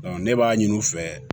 ne b'a ɲini u fɛ